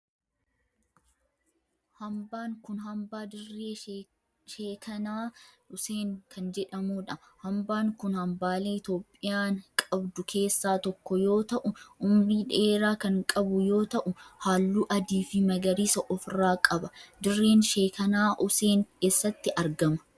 Hambaan kun hambaa Dirree sheekanaa Useen kan jedhamudha. Hambaan kun hambaalee Itiyoophiyaan qabdu keessaa tokkoo yoo ta'u umrii dheeraa kan qabu yoo ta'u halluu adii fi magariisa of irraa qaba. Dirreen sheekanaa useen eessatti argama?